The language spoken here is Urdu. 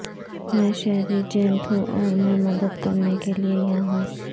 میں شہری جینٹ ہوں اور میں مدد کرنے کے لئے یہاں ہوں